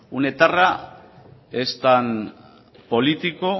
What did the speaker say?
un etarra es tan político